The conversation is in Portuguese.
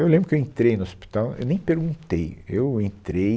Eu lembro que eu entrei no hospital, eu nem perguntei, eu entrei,